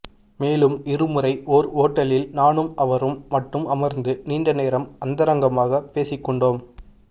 மேலும் இருமுறை ஓர் ஓட்டலில் நானும் அவரும் மட்டும் அமர்ந்து நீண்ட நேரம் அந்தரங்கமாகப் பேசிக்கொண்டோம்